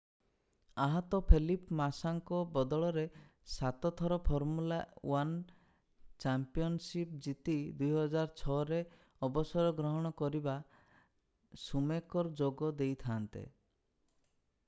ଆହତ ଫେଲିପ୍ ମାସାଙ୍କ ବଦଳରେ ସାତଥର ଫର୍ମୁଲା 1 ଚମ୍ପିଆନଶିପ୍ ଜିତି 2006ରେ ଅବସର ଗ୍ରହଣ କରିଥିବା ସୁମେକର୍ ଯୋଗ ଦେଇଥା'ନ୍ତେ